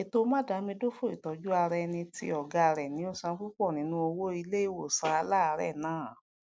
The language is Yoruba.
ètò madamidaofo ìtójú ara éni ti ògá rè ni ó san púpò nínú owó ilé ìwòsàn àláàrè nàà